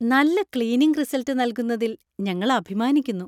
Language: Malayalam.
നല്ല ക്ലീനിംഗ് റിസള്‍ട്ട് നൽകുന്നതിൽ ഞങ്ങൾ അഭിമാനിക്കുന്നു.